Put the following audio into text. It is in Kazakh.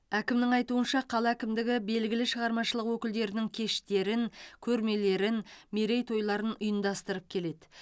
әкімнің айтуынша қала әкімдігі белгілі шығармашылық өкілдерінің кештерін көрмелерін мерейтойларын ұйымдастырып келеді